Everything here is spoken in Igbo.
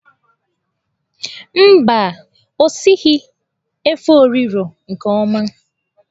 Mba, o sighi efo riro nke oma.